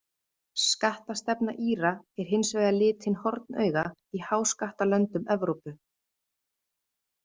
Skattastefna Íra er hins vegar litin hornauga í háskattalöndum Evrópu.